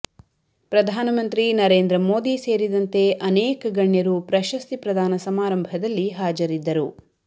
ಪ್ರಧಾನಮಂತ್ರಿ ನರೇಂದ್ರ ಮೋದಿ ಸೇರಿದಂತೆ ಅನೇಕ ಗಣ್ಯರು ಪ್ರಶಸ್ತಿ ಪ್ರದಾನ ಸಮಾರಂಭದಲ್ಲಿ ಹಾಜರಿದ್ದರು